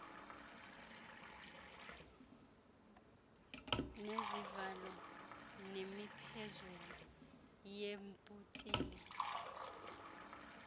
nezivalo nemiphezulu yeebhotile